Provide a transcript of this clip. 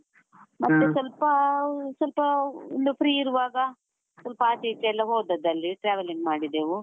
ಸ್ವಲ್ಪಾ, ಸ್ವಲ್ಪಾ ಒಂದು free ಇರುವಾಗ, ಸ್ವಲ್ಪ ಆಚೆ ಈಚೆ ಎಲ್ಲ ಹೋದದ್ದಲ್ಲಿ traveling ಮಾಡಿದೆವು.